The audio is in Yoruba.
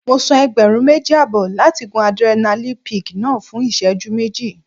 Mo san ẹgbẹ̀rún méjì àbọ̀ láti gun Adrenaline peak náà fún ìṣẹ́jú méjì.